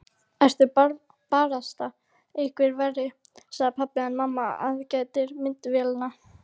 Ertu barasta eitthvað verri, segir pabbi en mamma aðgætir myndavélina.